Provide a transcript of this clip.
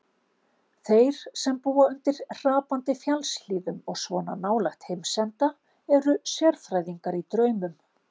Þeir sem búa undir hrapandi fjallshlíðum og svona nálægt heimsenda, eru sérfræðingar í draumum.